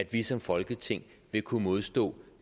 vi som folketing vil kunne modstå